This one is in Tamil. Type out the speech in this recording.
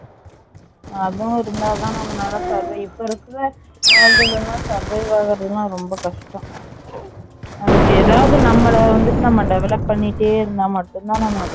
அதுவும் இருந்ததான் நம்மலால Survive இப்போ இருக்குற World லாம் Survive ஆகுறது லாம் ரொம்ப கஷ்டம் அதுக்கு எதாவது நம்மால வந்துட்டு நம்ம develop பண்ணிட்டே இருந்த மட்டும் தான்